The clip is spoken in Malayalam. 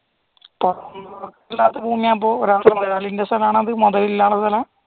ഒരാളുടെ ഭൂമി ആവുമ്പോൾ